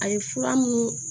A ye fura munnu